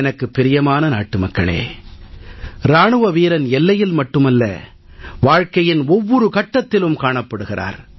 எனக்கு பிரியமான நாட்டுமக்களே இராணுவ வீரன் எல்லையில் மட்டுமல்ல வாழ்கையின் ஒவ்வொரு கட்டத்திலும் காணப்படுகிறார்